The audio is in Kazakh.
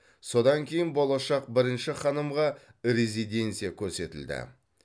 содан кейін болашақ бірінші ханымға резиденция көрсетілді